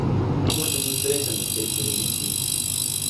Kako sem bil srečen ob tej pridobitvi!